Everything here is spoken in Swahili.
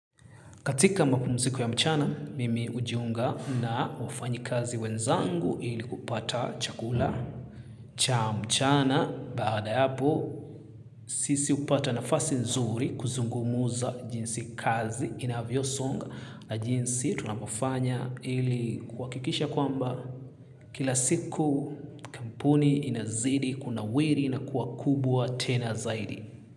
Katika mapumziko ya mchana, mimi hujiunga na wafanyi kazi wenzangu ili kupata chakula cha mchana. Baada yapo, sisi hupata nafasi nzuri kuzungumuza jinsi kazi inavyosonga na jinsi tunapafanya ili kwakikisha kwamba kila siku kampuni inazidi kuna wiri na kuwa kubwa tena zaidi.